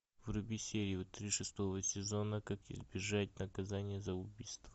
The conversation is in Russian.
вруби серию три шестого сезона как избежать наказания за убийство